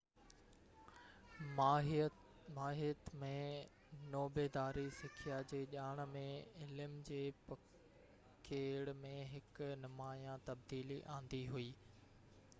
ماهيت ۾ نوبيداري سکيا جي ڄاڻ ۽ علم جي پکيڙ ۾ هڪ نمايان تبديلي آندي هئي